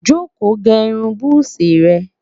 joko gé irún buzi re